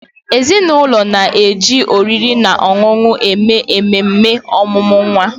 Ezinụlọ na-eji oriri na ọṅụṅụ eme ememe ọmụmụ nwa.